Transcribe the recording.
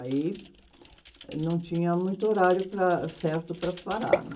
Aí não tinha muito horário para, certo para parar, não.